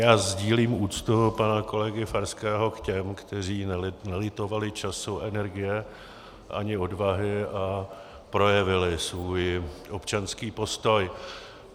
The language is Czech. Já sdílím úctu pana kolegy Farského k těm, kteří nelitovali času, energie ani odvahy a projevili svůj občanský postoj.